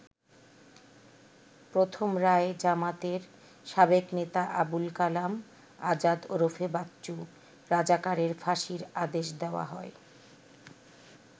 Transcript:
প্রথম রায়ে জামায়াতের সাবেক নেতা আবুল কালাম আযাদ ওরফে বাচ্চু রাজাকারের ফাঁসির আদেশ দেওয়া হয়।